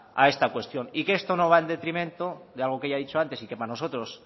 a esta cuestión y que esto no va en detrimento de algo que ya he dicho antes y que para nosotros